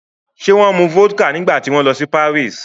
Ṣé wọ́n mu vodka nígbà tí wọ́n lọ sí Paris?